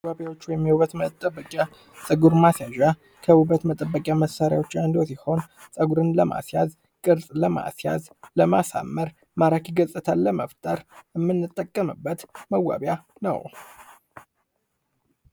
መዋቢያ ወይም የውበት መጠንቀቂያ ጸጉር ማስያዣ ውበት መጠበቂያ መሣሪያዎች አንዱ ሲሆን ፀጉርን ለማስያዝ፤ ቅርፅን ለማስያዝ፤ ለማሳመር ማረፊያ መፍጠር ምንጠቀመበት መዋቢያ ነው።